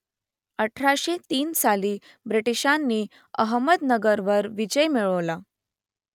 अठराशे तीन साली ब्रिटिशांनी अहमदनगरवर विजय मिळवला